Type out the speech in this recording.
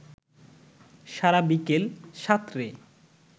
সারা বিকেল সাঁতরে